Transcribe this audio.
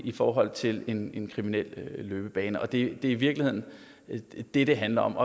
i forhold til en en kriminel løbebane og det er i virkeligheden det det handler om